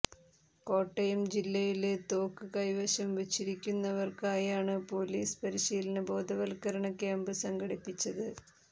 കോട്ടയം ജില്ലയില് തോക്ക് കൈവശം വച്ചിരിക്കുന്നവര്ക്കായാണ് പോലീസ് പരിശീലന ബോധവത്ക്കരണ ക്യാമ്പ് സംഘടിപ്പിച്ചത്